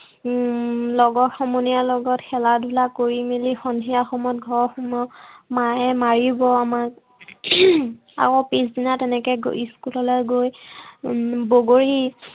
উম লগৰ সমনীয়াৰ লগত খেলা-ধূলা কৰি মেলি সন্ধিয়া সময়ত ঘৰ সোমাও। মায়ে মাৰিব আমাক। আকৌ পিছদিনা তেনেকে school লৈ গৈ উম বগৰী